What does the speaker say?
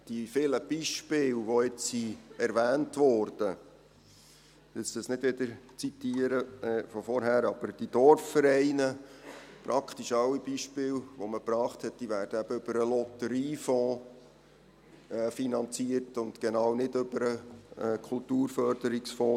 Die vielen Beispiele, die jetzt erwähnt wurden – ich will jetzt nicht wieder zitieren von vorher –, aber die Dorfvereine, praktisch alle Beispiele, die man gebracht hat, werden eben über den Lotteriefonds finanziert und genau über den Kulturförderungsfonds.